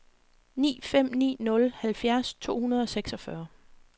ni fem ni nul halvfjerds to hundrede og seksogfyrre